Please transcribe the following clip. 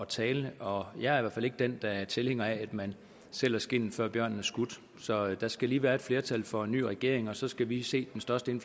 tale og jeg i fald ikke den der er tilhænger af at man sælger skindet før bjørnen er skudt så der skal lige være et flertal for en ny regering og så skal vi se den største